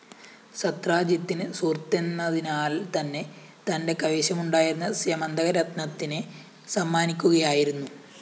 സത്രാജിത്തിന് സുഹൃത്തെന്നതിന്നാല്‍ത്തന്നെ തന്റെ കൈവശമുണ്ടായിരുന്ന സ്യമന്തക രത്‌നത്തിനെ സമ്മാനിയ്ക്കുകയായിരുന്നു